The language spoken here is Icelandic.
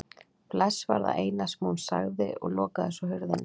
Bless var það eina sem hún sagði og lokaði svo hurðinni.